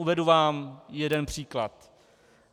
Uvedu vám jeden příklad.